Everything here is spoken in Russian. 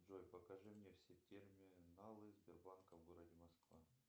джой покажи мне все терминалы сбербанка в городе москва